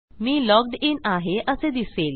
me logged in आहे असे दिसेल